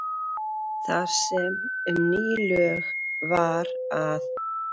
Þar sem um ný lög var að